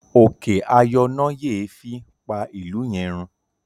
òkè ayọnáyèéfín pá ilú yén rún.